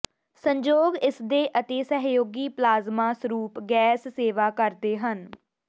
ਸੰਜੋਗ ਇਸਦੇ ਅਤੇ ਸਹਿਯੋਗੀ ਪਲਾਜ਼ਮਾ ਸਰੂਪ ਗੈਸ ਸੇਵਾ ਕਰਦੇ ਹਨ